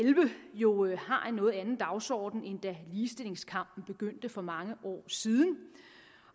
jo har en noget anden dagsorden end da ligestillingskampen begyndte for mange år siden